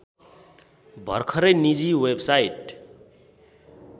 भर्खरै निजी वेबसाइट